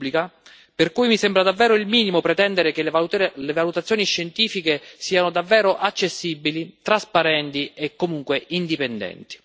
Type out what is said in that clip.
Insomma, stiamo parlando di salute pubblica, per cui mi sembra davvero il minimo pretendere che le valutazioni scientifiche siano davvero accessibili, trasparenti e comunque indipendenti.